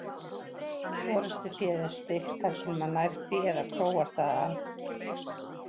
Forystuféð er styggt þar til maður nær því eða króar það af.